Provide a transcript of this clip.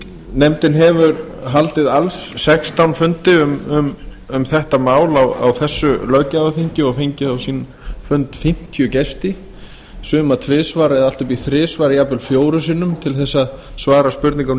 nefndin hefur haldið alls sextán fundi um þetta mál á þessu löggjafarþingi og fengið á sinn fund fimmtíu gesti suma tvisvar eða allt upp í þrisvar jafnvel fjórum sinnum til að svara spurningum